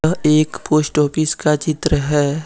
यह एक post office का चित्र है।